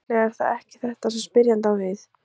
En líklega er það ekki þetta sem spyrjandi á við.